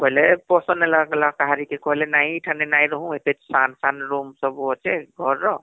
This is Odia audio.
ବୋଇଲେ ପସନ୍ଦ ନାଇଁ ହେଲା କା କାହାରକେ , କହିଲେ ଏତେ ସାନ ସାନ room ସବୁ ଅଛେ ଘର ର